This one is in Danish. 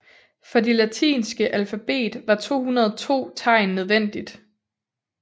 For de latinske alfabet var 202 tegn nødvendigt